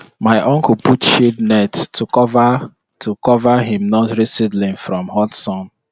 to use packed farming method dey make small land bring plenty food with organic way.